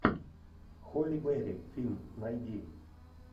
холли берри фильм найди